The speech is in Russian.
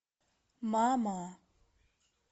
мама